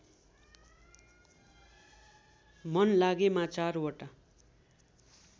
मन लागेमा चारवटा